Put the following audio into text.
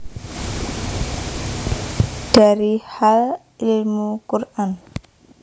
Dari Hal Ilmu Quran